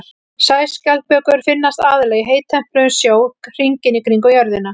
Sæskjaldbökur finnast aðallega í heittempruðum sjó hringinn í kringum jörðina.